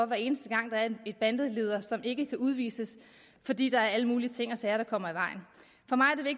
hver eneste gang der er en bandeleder som ikke kan udvises fordi der er alle mulige ting og sager der kommer